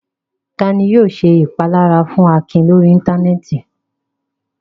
Ta ni yóò ṣe ìpalára fún Akin lórí Íńtánẹ́ẹ̀tì?